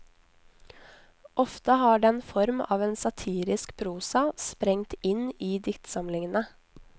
Ofte har den form av en satirisk prosa sprengt inn i diktsamlingene.